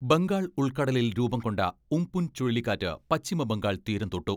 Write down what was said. ബംഗാൾ ഉൾക്കടലിൽ രൂപം കൊണ്ട ഉം പുൻ ചുഴലിക്കാറ്റ് പശ്ചിമബംഗാൾ തീരം തൊട്ടു.